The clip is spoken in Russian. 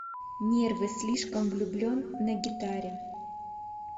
нервы слишком влюблен на гитаре